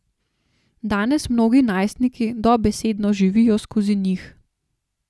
Danes mnogi najstniki dobesedno živijo skozi njih.